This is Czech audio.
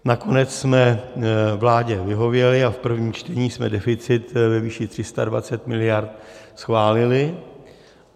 Nakonec jsme vládě vyhověli a v prvním čtení jsme deficit ve výši 320 miliard schválili.